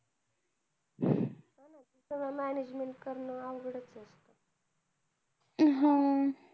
हा ना सगळ management करण अवघड च असत